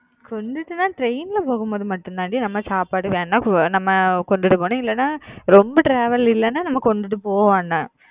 கொண்டுட்டுன்ன train ல போகும்போது மட்டும் தான் டி நம்ம சாப்பாடு வேணுமுன்னா நம்ம கொண்டுட்டு போகணும் இல்லைன்னா ரொம்ப travel இல்லைன்னா நம்ம கொண்டுட்டு போக வேணாம்